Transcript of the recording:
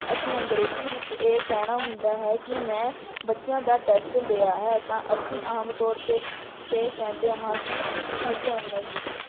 ਅਸੀਂ ਅੰਗਰੇਜ਼ੀ ਵਿੱਚ ਇਹ ਕਹਿਣਾ ਹੁੰਦਾ ਹੈ ਕਿ ਮੈਂ ਬੱਚਿਆਂ ਦਾ test ਲਿਆ ਹੈ, ਤਾਂ ਅਸੀਂ ਆਮ ਤੌਰ ਤੇ ਕਹਿੰਦੇ ਹਾਂ ਕਿ Thank you, have a nice day